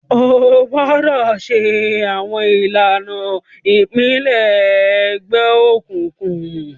O gbọdọ ṣe awọn ilana ipilẹṣẹ egbeokunkun!